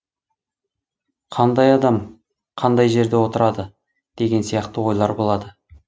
қандай адам қандай жерде отырады деген сияқты ойлар болады